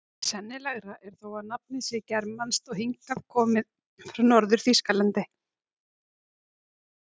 Sennilegra er þó að nafnið sé germanskt og hingað komið frá Norður-Þýskalandi.